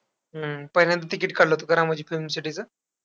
हम्म पहिल्यांदा ticket काढलं होतं का रामोजी फिल्म सिटीचं?